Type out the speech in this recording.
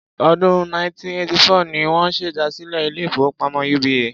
Ọdún 1984 ni wọ́n ṣèdásílẹl ilé-ìfowópamọ́ UBA.